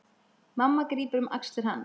Mamma grípur um axlir hans.